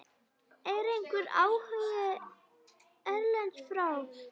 Er einhver áhugi erlendis frá?